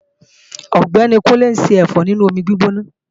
Ọ̀gbẹ́ni Kúnlé ń ṣẹ̀fọ́ nínú omi gbígbóná